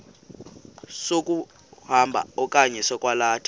sokukhomba okanye sokwalatha